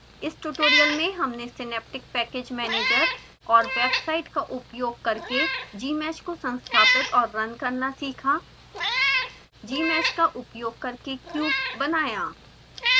इस ट्यूटोरियल में हमने सिनैप्टिक पैकेज मैनेजर और वेबसाइट का उपयोग करके gmsh को संस्थापित और रन करना सीखा gmsh का उपयोग करके क्यूब बनाया